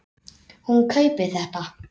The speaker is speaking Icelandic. Hún kaupir þetta.